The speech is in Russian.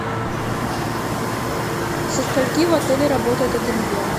со скольки в отеле работает ателье